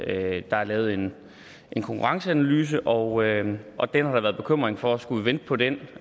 at der er lavet en konkurrenceanalyse og og der har været bekymring for skulle vente på den